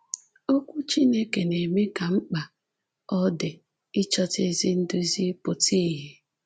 Okwu Chineke na-eme ka mkpa ọ dị ịchọta ezi nduzi pụta ìhè.